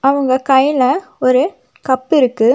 அவங்க கைல ஒரு கப் இருக்கு.